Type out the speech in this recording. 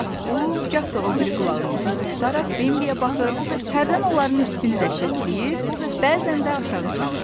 O gah bu, gah da o biri qulağını dik tutaraq Bembi'yə baxır, hərdən onların ikisini də şəkilləyir, bəzən də aşağı salırdı.